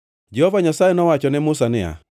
Jehova Nyasaye nowacho ne Musa niya,